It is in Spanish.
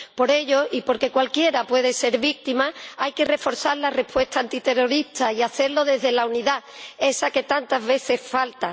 Por ello, y porque cualquiera puede ser víctima, hay que reforzar la respuesta antiterrorista y hacerlo desde la unidad, esa que tantas veces falta.